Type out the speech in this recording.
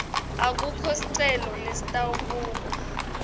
akukho sicelo lesitawubukwa